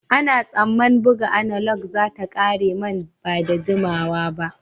Ana tsamman buga analog za ta ƙare nan ba da jimawa ba.